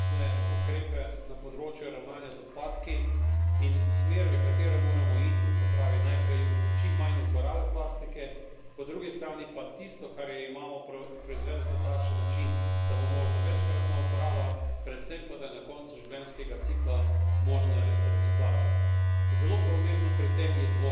Po drugi strani imamo zelo jasne ukrepe na področju ravnanja z odpadki in smer, v katero moramo iti, se pravi, najprej čim manj uporabe plastike, po drugi strani pa tisto, kar jo imamo, proizvest na takšen način, da bo možna večkratna uporaba, predvsem pa da je na koncu življenjskega cikla možna reciklaža.